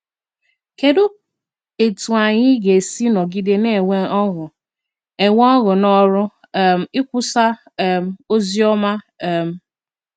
Kedụ etú anyị ga esi nọgide na - enwe ọṅụ - enwe ọṅụ n’ọrụ um ikwusa um ozi ọma um?